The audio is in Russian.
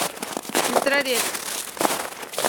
сестрорецк